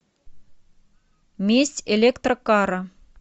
месть электрокара